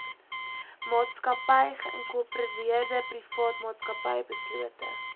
maatsakappy geïnkorpereerdeprivaatmaatsappy beslote